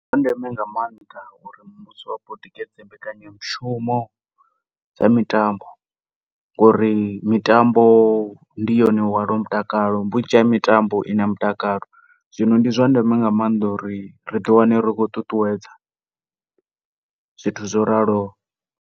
Ndi zwa ndeme nga maanḓa ngori tikedza mbekanyamushumo dza mitambo ngori mitambo ndi yone yo hwalaho mutakalo, vhunzhi ha mitambo i na mutakalo. Zwino ndi zwa ndeme nga maanḓa uri ri ḓi wane ri khou ṱuṱuwedza zwithu zwo raloho.